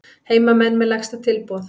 Heimamenn með lægsta tilboð